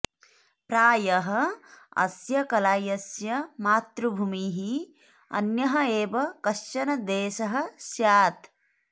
प्रायः अस्य कलायस्य मातृभूमिः अन्यः एव कश्चन देशः स्यात्